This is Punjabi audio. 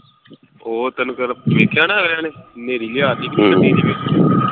ਹੋਰ ਤੈਨੂੰ ਕੱਲ ਵੇਖਿਆ ਨਾ ਅਗਲਿਆਂ ਨੇ ਨ੍ਹੇਰੀ ਲਿਆ ਤੀ